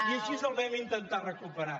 i així el vam intentar recuperar